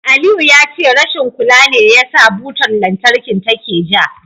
Aliyu ya ce rashin kula ne yasa butar lantarkin take ja.